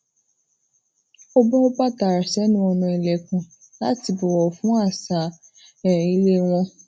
ó bó bàtà rè senu ilekun lati bowo fun àṣà um ile won